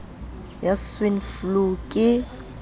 ya swine flu ke ho